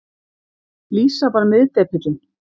Lísa var miðdepillinn.